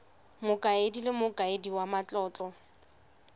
mokaedi le mokaedi wa matlotlo